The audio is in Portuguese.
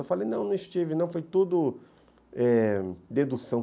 Eu falei, não, não estive não, foi tudo eh dedução.